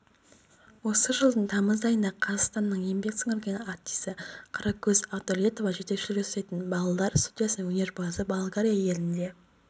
осы жылдың тамыз айында қазақстанның еңбек сіңірген артисі қаракөз ақдәулетова жетекшілік жасайтын балалар студиясының өнерпазыболгария елінде